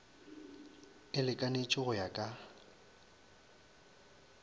e lekanetše go ya ka